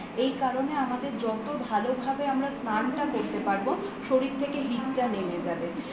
এই কারণে আমাদের যত ভালো ভাবে আমরা স্নান টা করতে পারব শরীর থেকে hit টা নেমে যাবে